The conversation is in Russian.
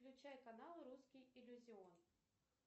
включай канал русский иллюзион